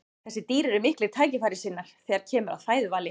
þessi dýr eru miklir tækifærissinnar þegar kemur að fæðuvali